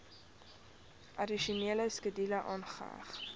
addisionele skedule aangeheg